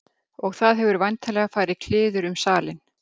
Og það hefur væntanlega farið kliður um salinn.